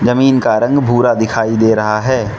जमीन का रंग भूरा दिखाई दे रहा है।